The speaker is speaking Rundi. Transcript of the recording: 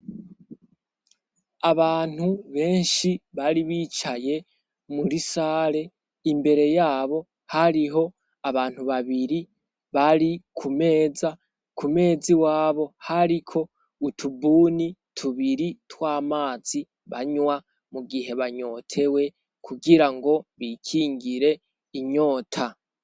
Abantu benshi bari bicaye muri sare, imbere yabo hariho abantu babiri bari ku meza, ku meza iwabo hariko utubuni tubiri tw'amazi banywa mu gihe banyotewe kugirango bikingire inyota.